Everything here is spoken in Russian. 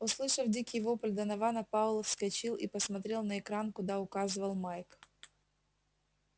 услышав дикий вопль донована пауэлл вскочил и посмотрел на экран куда указывал майк